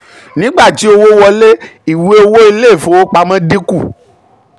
nígbà tí owó wọlé ìwé owó ilé ìfowopamọ́ dínkù.